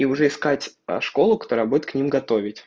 и уже искать школу которая будет к ним готовить